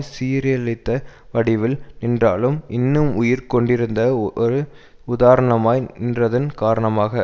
சீரழித வடிவில் நின்றாலும் இன்னும் உயிர் கொண்டிருந்த ஒரு உதாரணமாய் நின்றதன் காரணமாக